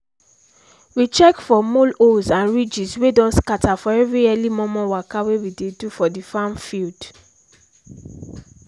we check for mole holes and ridges wey don scatter for every early momo waka wey we do for the farm field